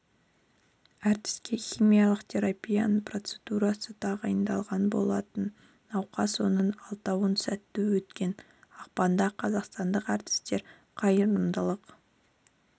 әртіске химиялық терапияның процедурасы тағайындалған болатын науқас оның алтауынан сәтті өткен ақпанда қазақстандық әртістер қайырымдылық